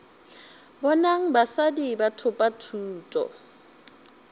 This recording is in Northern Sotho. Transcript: bonang basadi ba thopa thuto